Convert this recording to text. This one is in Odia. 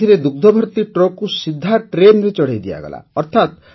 ଏଥିରେ ଦୁଗ୍ଧଭର୍ତ୍ତି ଟ୍ରକକୁ ସିଧା ଟ୍ରେନରେ ଚଢ଼ାଇ ଦିଆଗଲା